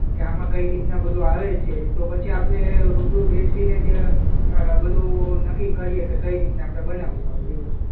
કે આમાં કઈ રીતના બધું આવે છે તો પછી આપણે રૂબરૂ બેસીને જ અ બધું નક્કી કરીએ કે કઈ રીતના આપણે બનાવશું આ બધી વસ્તુ.